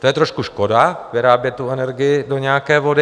To je trošku škoda vyrábět tu energii do nějaké vody.